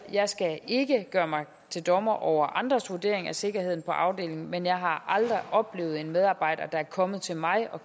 jeg skal ikke gøre mig til dommer over andres vurdering af sikkerheden på afdelingen men jeg har aldrig oplevet en medarbejder der er kommet til mig og